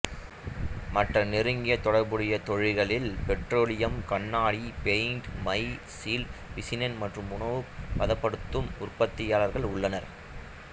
மற்ற நெருங்கிய தொடர்புடைய தொழில்களில் பெட்ரோலியம் கண்ணாடி பெயிண்ட் மை சீல்ட் பிசினஸ் மற்றும் உணவு பதப்படுத்தும் உற்பத்தியாளர்கள் உள்ளனர்